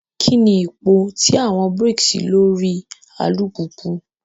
Kini ipo ti awọn brakes lori alupupu?